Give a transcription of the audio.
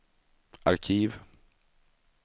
arkiv